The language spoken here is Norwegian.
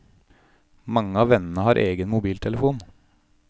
Mange av vennene har egen mobiltelefon.